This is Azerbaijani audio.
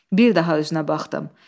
Bir daha üzünə baxdım.